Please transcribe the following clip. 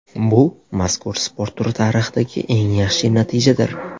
Bu mazkur sport turi tarixidagi eng yaxshi natijadir.